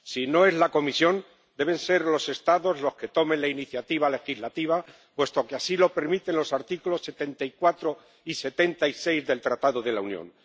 Si no es la Comisión, deben ser los Estados los que tomen la iniciativa legislativa, puesto que así lo permiten los artículos 74 y 76 del Tratado de la Unión.